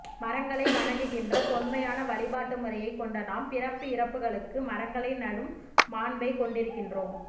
மரங்களைவணங்குகின்ற தொன்மையான வழிபாட்டு முறையைக் கொண்ட நாம் பிறப்பு இறப்புக்களுக்கு மரங்களை நடும் மாண்பைக் கொண்டிருக்கின்றோம்